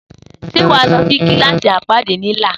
Sé wa lõsí kilassí apadi Lila?